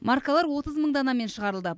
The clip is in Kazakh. маркалар отыз мың данамен шығарылды